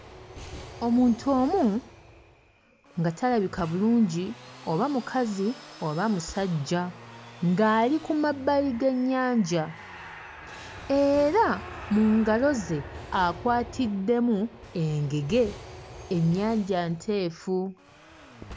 Omuntu omu, nga talabika bulungi oba mukazi oba musajja, ng'ali ku mabbali g'ennyanja. Era mu ngalo ze akwatiddemu engege. Ennyanja nteefu.